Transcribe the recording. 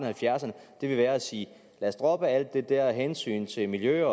halvfjerdserne vil være at sige lad os droppe alt det der med hensynet til miljø